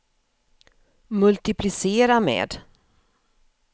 multiplicera med